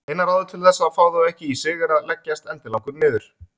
Eina ráðið til þess að fá þau ekki í sig er að leggjast endilangur niður.